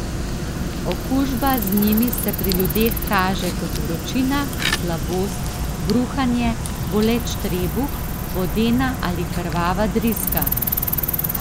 Okužba z njimi se pri ljudeh kaže kot vročina, slabost, bruhanje, boleč trebuh, vodena ali krvava driska.